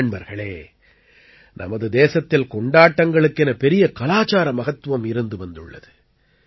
நண்பர்களே நமது தேசத்தில் கொண்டாட்டங்களுக்கென பெரிய கலாச்சார மகத்துவம் இருந்து வந்துள்ளது